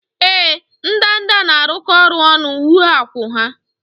Ee, ndanda na-arụkọ ọrụ ọnụ wuo akwụ́ ha